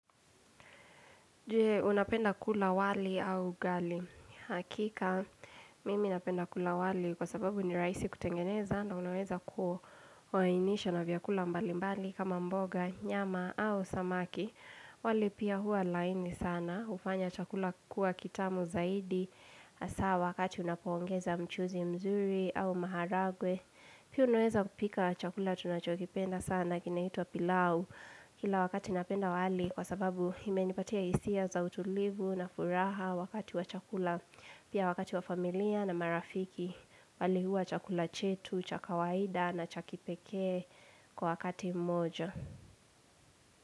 Je unapenda kula wali au ugali? Hakika, mimi napenda kula wali kwa sababu ni rahisi kutengeneza. Na unaweza ku wainisha na vyakula mbali mbali kama mboga, nyama au samaki. Wali pia huwa laini sana. Hufanya chakula kuwa kitamu zaidi. Hasaa wakati unapoongeza mchuzi mzuri au maharagwe. Piu unaweza kupika chakula tunachokipenda sana kinaitwa pilau. Kila wakati napenda wali kwa sababu imenipatia hisia za utulivu na furaha wakati wa chakula Pia wakati wa familia na marafiki wali huwa chakula chetu cha kawaida na cha kipekee kwa wakati mmoja.